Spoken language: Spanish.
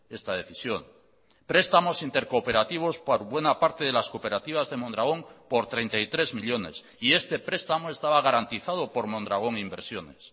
esta decisión prestamos intercooperativos por buena parte de las cooperativas de mondragón por treinta y tres millónes y este prestamo estaba garantizado por mondragón inversiones